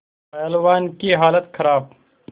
पहलवान की हालत खराब